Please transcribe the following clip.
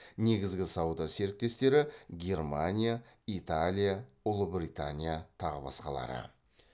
негізгі сауда серіктестері германия италия ұлыбритания тағы басқалары